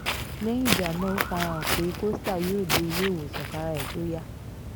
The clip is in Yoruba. lẹ́yìn ìjà náà ó fara hàn pé costa yóò dé iléewòsàn kára ẹ̀ tóó yá